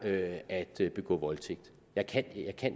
at at begå voldtægt jeg kan